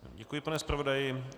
Děkuji, pane zpravodaji.